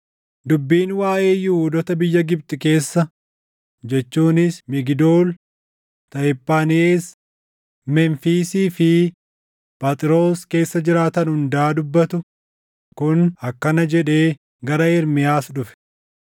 Dubbiin waaʼee Yihuudoota biyya Gibxi keessa jechuunis Migdool, Tahiphaanhees, Memfiisii fi Phaxroos keessa jiraatan hundaa dubbatu kun akkana jedhee gara Ermiyaas dhufe;